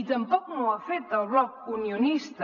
i tampoc no ho ha fet el bloc unionista